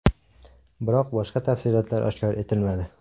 Biroq boshqa tafsilotlar oshkor etilmadi.